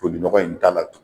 Tolinɔgɔ in ta la